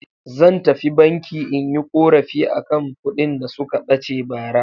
Zan tafi banki in yi ƙorafi a kan kuɗin da suka ɓace bara.